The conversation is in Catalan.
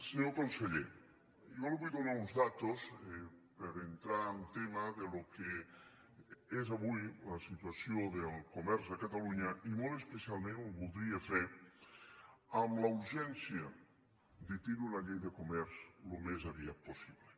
senyor conseller jo li vull donar unes dades per entrar en tema del que és avui la situació del comerç a catalunya i molt especialment ho voldria fer amb la urgència de tenir una llei de comerç al més aviat possible